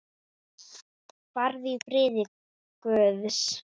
Farðu í friði Guðs.